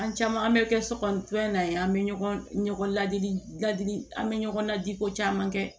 An caman an bɛ kɛ sokɔnɔ na ye an bɛ ɲɔgɔn ladili ladi an bɛ ɲɔgɔn na diko caman kɛ